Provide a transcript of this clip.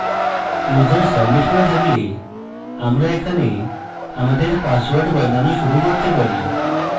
user submit করে থাকলে আমরা এখানে আমাদের পাসওয়ার্ড বদলানো শুরু করতে পারি